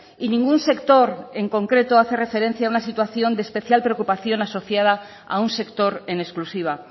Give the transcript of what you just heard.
y ningún sector en concreto hace referencia a una situación de especial preocupación asociada a un sector en exclusiva